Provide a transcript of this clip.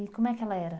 E como é que ela era?